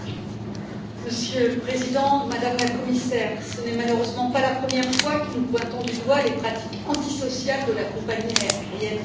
Monsieur le Président, Madame la Commissaire, ce n'est malheureusement pas la première fois que nous pointons du doigt les pratiques antisociales de la compagnie aérienne Ryanair.